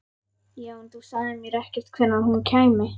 Já, en þú sagðir mér ekkert hvenær hún kæmi.